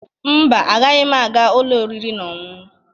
Mba, agaghị m aga ụlọ oriri na ọṅụṅụ,